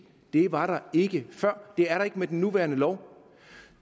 var der ikke før det er der ikke med den nuværende lov